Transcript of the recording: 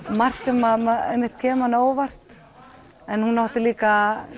margt sem kemur manni á óvart en hún átti líka